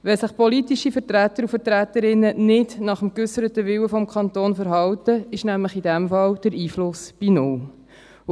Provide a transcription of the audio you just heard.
Wenn sich politische Vertreter und Vertreterinnen nicht nach dem geäusserten Willen des Kantons verhalten, liegt in diesem Fall der Einfluss nämlich bei null.